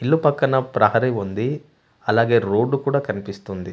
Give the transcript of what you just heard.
ఇల్లు పక్కన ప్రహరీ ఉంది అలాగే రోడ్డు కూడా కనిపిస్తుంది.